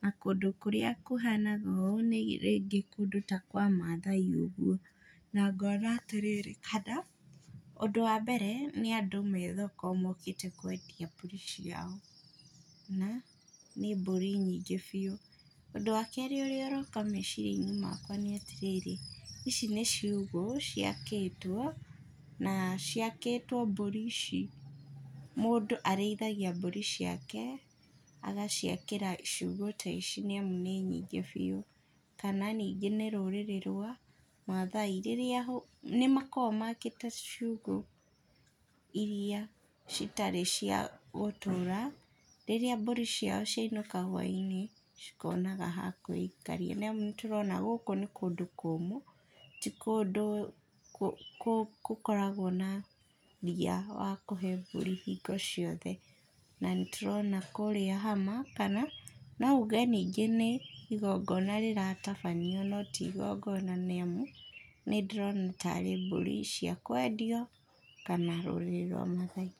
na kũndũ kũrĩa kũhanaga ũũ nĩ rĩngĩ kũndũ ta kwamathai ũguo, na ngona atĩrĩrĩ, haha, ũndũ wa mbere nĩandũ methoko mokĩte kwendia mbũri ciao. Na nĩ mbũri nyingĩ biũ, ũndũ wa kerĩ ũrĩa ũroka meciriani makwa nĩatĩrĩrĩ, ici nĩ ciugũ ciakĩtwo, na ciakĩtwo mbũri ici mũndũ arĩithagia mbũri ciake, agaciakĩra ciũgũ ta ici nĩamu nĩ nyingĩ biũ. Kana ningĩ nĩ rũrĩrĩ rwa, mathai, rĩrĩa ũ nĩmakoragwo makĩte ciũgũ, iria citarĩ cia gũtũra, rĩrĩa mbũri ciao ciainũka hwainĩ, cikonaga ha kũikaria. Niamu nĩtũrona gũkũ nĩ kũndũ kũmũ, ti kũndũ kũ, kũ kũkoragwo na ria wa kũhe mbũri hingo ciothe, na nĩtũrona kũrĩa hama kana, nouge ningĩ nĩ igongona rĩratabanio no ti igongona nĩamu, nĩndĩĩrona tarĩ mbũri cia kwendio, kana rũrĩrĩ rwa mathai.